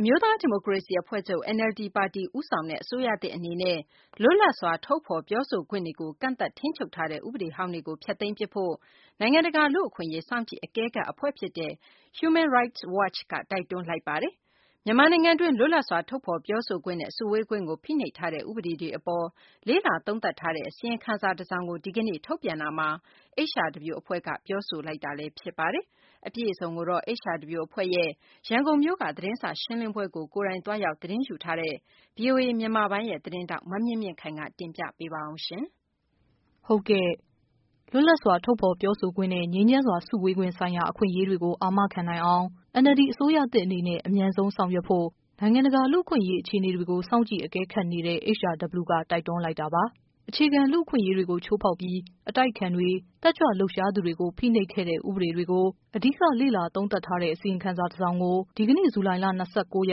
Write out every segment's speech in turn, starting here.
အမျိုးသားဒီမိုကရေစီအဖွဲ့ချုပ် (NLD) ပါတီ ဦးဆောင်တဲ့ အစိုးရသစ်အနေနဲ့ လွတ်လပ်စွာ ထုတ်ဖော်ပြောဆိုခွင့်တွေကို ကန့်သတ်ထိန်းချုပ်ထားတဲ့ ဥပဒေဟောင်းတွေကို ဖျက်သိမ်းပစ်ဖို့ နိုင်ငံတကာ လူ့အခွင့်အရေး စောင့်ကြည့် အကဲခတ် အဖွဲ့ဖြစ်တဲ့ Human Rights Watch က တိုက်တွန်း လိုက်ပါတယ်။ မြန်မာနိုင်ငံအတွင်း လွတ်လပ်စွာ ထုတ်ဖော်ပြောဆိုခွင့်နဲ့ စုဝေးခွင့်ကို ဖိနှိပ်ထားတဲ့ ဥပဒေ တွေအပေါ် လေ့လာသုံးသပ်ထားတဲ့ အစီရင်ခံစာတစောင်ကို ဒီကနေ့ ထုတ်ပြန်ရာမှာ HRW အဖွဲ့က ပြောဆိုလိုက်တာပါ။ အပြည့်အစုံကိုတော့ HRW အဖွဲ့ရဲ့ ရန်ကုန်မြို့က သတင်းစာရှင်းလင်းပွဲကို ကိုယ်တိုင်သွားရောက် သတင်းယူထားတဲ့ ဗွီအိုအေ မြန်မာပိုင်းသတင်းထောက် မမြင့်မြင့်ခိုင်က တင်ပြပေးမှာဖြစ်ပါတယ်။ လွတ်လပ်စွာ ထုတ်ဖော်ပြောဆိုခွင့်နဲ့ ငြိမ်းချမ်းစွာ စုဝေးခွင့်ဆိုင်ရာ အခွင့်အရေးတွေကို အာမခံနိုင်အောင် NLD အစိုးရသစ်အနေနဲ့ အမြန်ဆုံးဆောင်ရွက်ဖို့ နိုင်ငံတကာက လူ့အခွင့်အရေး အခြေအနေတွေကိုစောင့်ကြည့် အကဲခတ်နေတဲ့ HRW က တိုက်တွန်းလိုက်တာပါ။ အခြေခံ လူ့အခွင့်အရေးတွေကို ချိုးဖောက်ပြီး အတိုက်အခံတွေ၊ တက်ကြွလှုပ်ရှားသူတွေကို ဖိနှိပ်ခဲ့တဲ့ ဥပဒေတွေကို အဓိက လေ့လာ သုံးသပ်ထားတဲ့ အစီရင်ခံစာတစောင်ကို ဒီကနေ့ ဇူလိုင်လ ၂၉ ရ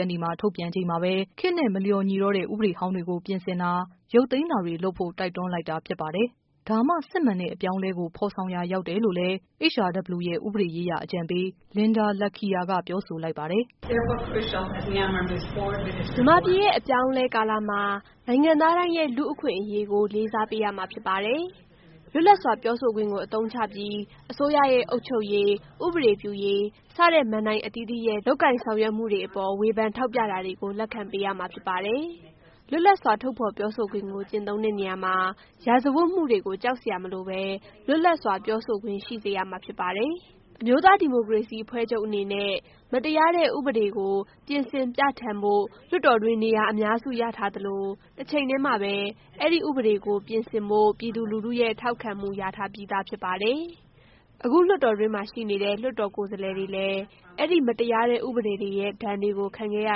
က်နေ့မှာ ထုတ်ပြန်ချိန်မှာပဲ ခေတ်နဲ့မလျော်ညီတော့တဲ့ ဥပဒေဟောင်းတွေကို ပြင်ဆင်တာ၊ ရုပ်သိမ်းတာတွေလုပ်ဖို့ တိုက်တွန်းလိုက်တာဖြစ်ပါတယ်။ ဒါမှသာ စစ်မှန်တဲ့အပြောင်းအလဲကို ဖော်ဆောင်ရာရောက်တယ်လို့လည်း HRW အဖွဲ့ရဲ့ ဥပဒေရေးရာ အကြံပေး Linda Lakhdhir က ပြောဆိုလိုက်ပါတယ်။ "မြန်မာပြည်ရဲ့ အပြောင်းအလဲကာလမှာ နိုင်ငံသားတိုင်းရဲ့ လူ့အခွင့်အရေးကို လေးစားပေးရမှာဖြစ်ပါတယ်။ လွတ်လပ်စွာ ပြောဆိုခွင့်ကို အသုံးချပြီး အစိုးရရဲ့ အုပ်ချုပ်ရေး၊ ဥပဒေပြုရေးစတဲ့ မဏ္ဍိုင်အသီးသီးရဲ့ လုပ် ကိုင်ဆောင်ရွက်မှုတွေအပေါ် ဝေဖန်ထောက်ပြတာတွေကို လက်ခံပေးရမှာဖြစ်ပါတယ်။ လွတ်လပ်စွာ ထုတ်ဖော် ပြောဆိုခွင့်ကို ကျင့်သုံးတဲ့နေရာမှာ ရာဇဝတ်မှုတွေကို ကြောက်စရာမလိုဘဲ လွတ်လပ်စွာ ပြောဆိုခွင့်ရှိစေရ မှာဖြစ်ပါတယ်။ အမျိုးသားဒီမိုကရေစီအဖွဲ့ချုပ်အနေနဲ့ မတရားတဲ့ ဥပဒေကို ပြင်ဆင်ပြဌာန်းတဲ့ဖို့ လွှတ်တော် တွင်း အများစုနေရာရထားသလို တချိန်တည်းမှာပဲ အဲ့ဒီဥပဒေကို ပြင်ဆင်ဖို့ ပြည်သူလူထုရဲ့ ထောက်ခံမှုရထား ပြီးသားဖြစ်ပါတယ်။ အခုလွှတ်တော်တွင်းမှာရှိနေတဲ့ လွှတ်တော်ကိုယ်စားလှယ်တွေလည်း အဲဒီမတရားတဲ့ ဥပဒေတွေရဲ့ ဒဏ်ကို ခံခဲ့ရ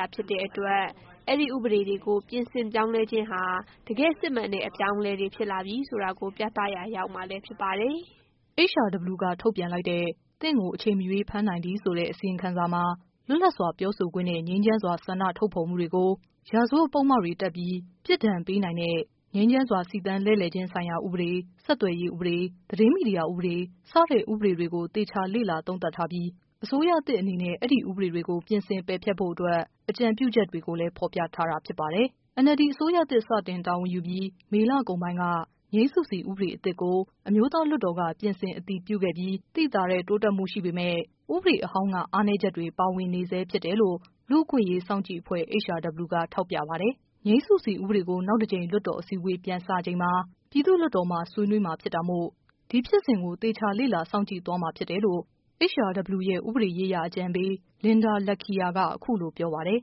တာဖြစ်တဲ့အတွက် အဲ့ဒီဥပဒေတွေကို ပြင်ဆင်ပြောင်းလဲခြင်းဟာ တကယ့် စစ်မှန်တဲ့ အပြောင်း အလဲတွေ ဖြစ်လာပြီဆိုတာ ပြသရာရောက်မှာလည်းဖြစ်ပါတယ်။ " HRW က ထုတ်ပြန်လိုက်တဲ့ "သင့်ကို အချိန်မရွေးဖမ်းနိုင်သည်" ဆိုတဲ့ အစီရင်ခံစာမှာ လွတ်လပ်စွာ ပြောဆို ခွင့်နဲ့ ငြိမ်းချမ်းစွာ ဆန္ဒထုတ်ဖော်မှုကို ရာဇဝတ်ပုဒ်မတွေတပ်ပြီး ပြစ်ဒဏ်ပေးနိုင်တဲ့ ငြိမ်းချမ်းစွာ စီတန်းလှည့် လည် ခြင်းဆိုင်ရာ ဥပဒေ၊ ဆက်သွယ်ရေးဥပဒေ၊ သတင်းမီဒီယာဥပဒေ စတဲ့ ဥပဒေတွေကို သေချာလေ့လာသုံး သပ်ထားတာ ဖြစ်ပြီး အစိုးရသစ်အနေနဲ့ ဒီဖိနှိပ်တဲ့ ဥပဒေတွေ ပယ်ဖျက်ဖို့အတွက် အကြံပြုချက်တွေ ဖော်ပြထားတာဖြစ် ပါတယ်။ NLD အစိုးရသစ်စတင်တာဝန်ပြီး မေလကုန်ပိုင်းက ငြိမ်းစုစီ ဥပဒေအသစ်ကို အမျိုးသားလွှတ်တော်က ပြင်ဆင် အတည်ပြုခဲ့ပြီး သိသာတဲ့ တိုးတက်မှုရှိပေမယ့် ဥပဒေအဟောင်းက အားနည်းချက်တွေ ပါဝင်နေဆဲဖြစ်တယ်လို့ လူ့အခွင့်အရေးစောင့်ကြည့်အဖွဲ့ HRW က ထောက်ပြပါတယ်။ ငြိမ်းစုစီ ဥပဒေကို နောက်တကြိမ် လွှတ်တော်အစည်းအဝေး ပြန်စချိန်မှာ ပြည်သူ့လွှတ်တော်မှာ ဆွေးနွေးမှာ ဖြစ်တာမို့ ဒီဖြစ်စဉ်ကို သေချာလေ့လာ စောင့်ကြည့်သွားမှာဖြစ်တယ်လို့ HRW ရဲ့ ဥပဒေရေးရာ အကြံပေး Linda Lakhdhir က အခုလိုပြောပါတယ်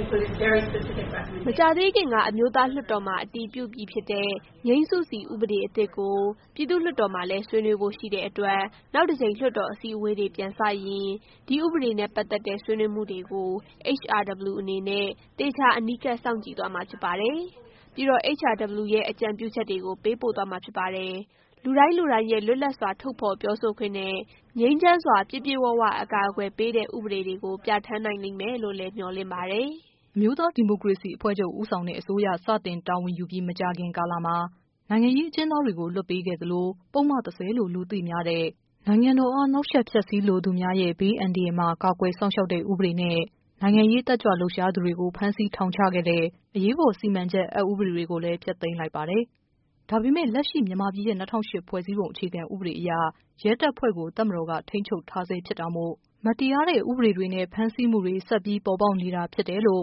။ "မကြာသေးခင်က အမျိုးသားလွှတ်တော်မှာ အတည်ပြုထားပြီးဖြစ်တဲ့ ငြိမ်းစုစီဥပဒေ အသစ်ကို ပြည်သူ့ လွှတ် တော်မှာလည်း ဆွေးနွေးဖို့ ရှိတဲ့အတွက် နောက်တကြိမ် လွှတ်တော်အစည်းအဝေးတွေပြန်စရင် ဒီဥပဒေနဲ့ ပတ်သက်တဲ့ ဆွေးနွေးမှုတွေကို HRW အနေနဲ့ သေချာအနီးကပ်စောင့်ကြည့် သွားမှာဖြစ်ပါတယ်။ ပြီးတော့ HRW ရဲ့ အကြံပြုချက်တွေကို ပေးပို့သွားမှာဖြစ်ပါတယ်။ လူတိုင်း လူတိုင်းရဲ့ လွတ်လပ်စွာ ထုတ်ဖော်ပြောဆို ခွင့်နဲ့ ငြိမ်းချမ်းစွာ ပြည့်ပြည့်ဝဝ အကာအကွယ်ပေးတဲ့ ဥပဒေတွေကို ပြဌာန်းနိုင်လိမ့်မယ်လို့လည်း မျှော်လင့် ပါ တယ်" အမျိုးသားဒီမိုကရေစီအဖွဲ့ချုပ် ဦးဆောင်တဲ့ အစိုးရအဖွဲ့ကို စတင်တာဝန်ယူပြီး မကြာခင်ကာလမှာ နိုင်ငံရေး အကျဉ်းသားတွေကို လွတ်ပေးခဲ့သလို ပုဒ်မ (၁၀) လို့လူသိများတဲ့ နိုင်ငံတော်အား နှောင့်ယှက်ဖျက်ဆီး လိုသူ များ၏ ဘေးအန္တရာယ်မှ ကာကွယ် စောင့်ရှောက် သည့် ဥပဒေနဲ့ နိုင်ငံရေးတက်ကြွသူတွေကို ဖမ်းဆီးထောင်ချခဲ့ တဲ့ အရေးပေါ်စီမံချက် အက်ဥပဒေတွေ ကိုလည်း ဖျက်သိမ်းလိုက်ပါတယ်။ ဒါပေမယ့် လက်ရှိမြန်မာပြည်ရဲ့ ၂၀၀၈ ဖွဲ့စည်းပုံအခြေခံဥပဒေအရ ရဲတပ်ဖွဲ့ကို တပ်မတော်က ထိန်းချုပ်ထားဆဲမို့ မတရားတဲ့ ဥပဒေတွေနဲ့ ဖမ်း ဆီးမှုတွေ ဆက်ပြီးပေါ်ပေါက်နေတာဖြစ်တယ်လို့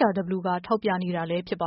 HRW က ထောက်ပြနေတာလည်းဖြစ်ပါ